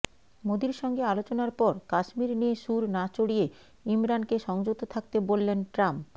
মোদির সঙ্গে আলোচনার পর কাশ্মীর নিয়ে সুর না চড়িয়ে ইমরানকে সংযত থাকতে বললেন ট্রাম্প